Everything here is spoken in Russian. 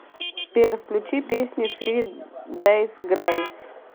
сбер включи песни фри дейс грейс